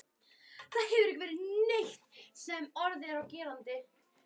Það hefur ekki verið neitt sem orð er á gerandi.